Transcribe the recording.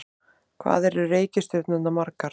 Hvað eru reikistjörnurnar margar?